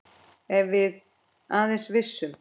Ef við aðeins vissum.